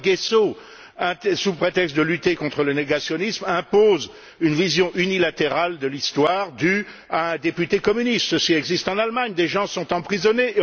La loi Gayssot, sous prétexte de lutter contre le négationnisme, impose une vision unilatérale de l'histoire due à un député communiste, ce qui existe en Allemagne, où des gens sont emprisonnés.